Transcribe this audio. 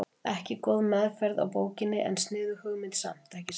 Ekki góð meðferð á bókinni en sniðug hugmynd samt, ekki satt?